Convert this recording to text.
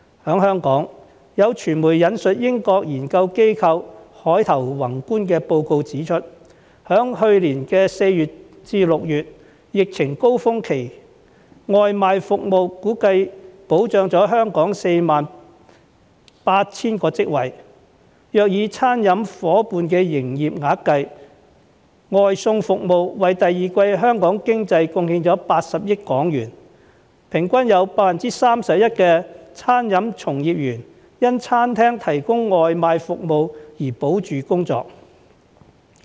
在香港，有傳媒引述英國研究機構凱投宏觀的報告指出，在去年4月至6月的疫情高峰期，外賣服務估計保障了香港約 48,000 個職位，若以餐廳夥伴的營業額計，外送服務為第二季香港經濟貢獻了80億港元，平均有 31% 的餐飲從業員因餐廳提供外賣服務而保住工作。